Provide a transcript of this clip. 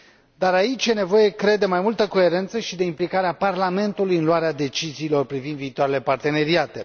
Dar aici e nevoie, cred, de mai multă coerență și de implicarea Parlamentului în luarea deciziilor privind viitoarele parteneriate.